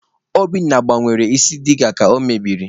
Obinna gbanwere isi diga ka o mebiri.